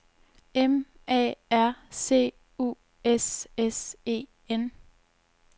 M A R C U S S E N